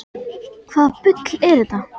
Hvaða bull er þetta?